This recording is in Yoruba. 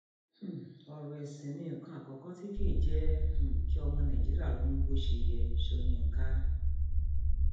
um ọrọ ẹsìn ni nǹkan àkọkọ tí kì í jẹ um kí ọmọ nàìjíríà ronú bó ṣe yẹ sọyńkà